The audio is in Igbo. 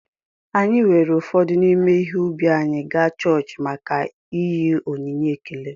Anyị weere ụfọdụ n’ime ihe ubi anyị gaa chọọchị maka ịnye onyinye ekele